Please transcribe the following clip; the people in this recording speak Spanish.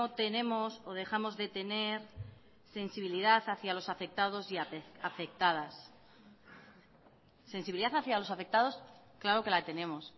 tenemos o dejamos de tener sensibilidad hacia los afectados y afectadas sensibilidad hacia los afectados claro que la tenemos